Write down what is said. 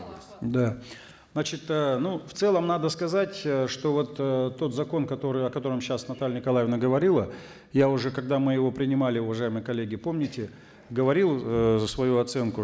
да значит э ну в целом надо сказать э что вот э тот закон который о котором сейчас наталья николаевна говорила я уже когда мы его принимали уважаемые коллеги помните говорил э свою оценку